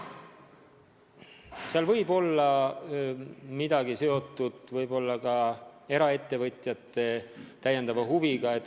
Seal võib olla midagi seotud ka eraettevõtjate täiendava huviga.